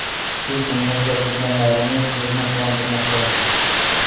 Shu kungacha ko‘rganlarimiz ko‘zni quvontirmoqda.